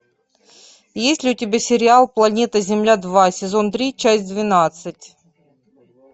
есть ли у тебя сериал планета земля два сезон три часть двенадцать